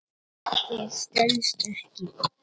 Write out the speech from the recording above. Það stenst ekki.